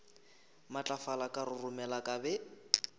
matlafala ka roromela ka be